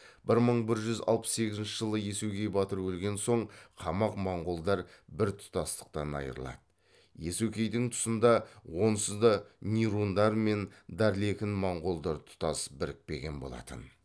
бір мың бір жүз алпыс сегізінші жылы иесугей батыр өлген соң қамақ моңғолдар бір тұтастықтан айырылады иесукейдің тұсында онсызда нирундар мен дарлекін моңғолдар тұтас бірікпеген болатын